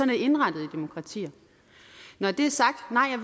det indrettet i demokratier når det er sagt nej